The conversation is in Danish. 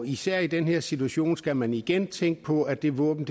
især i den her situation skal man igen tænke på at det våben